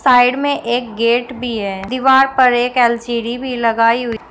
side में एक gate भी है दीवार पर एक एल_सी_डी भी लगाई हुई--